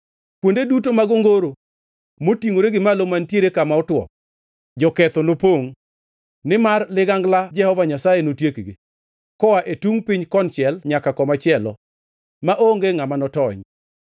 Kuonde duto mag ongoro motingʼore gi malo mantiere kama otwo, joketho nopongʼ, nimar ligangla Jehova Nyasaye notiekgi, koa e tungʼ piny konchiel nyaka komachielo; maonge ngʼama notony.